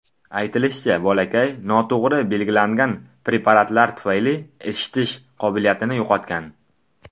Aytilishicha, bolakay noto‘g‘ri belgilangan preparatlar tufayli eshitish qobiliyatini yo‘qotgan.